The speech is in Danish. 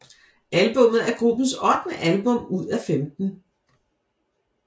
Albummet er gruppens ottende album ud af 15